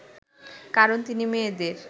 কারণ তিনি মেয়েদের